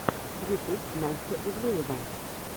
ютуб настя ивлеева